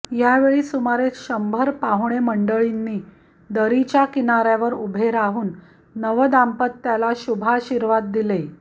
यावेळी सुमारे शंभर पाहुणे मंडळींनी दरीच्या किनाऱ्यावर उभे राहून नवदाम्पत्याला शुभाशिर्वाद दिले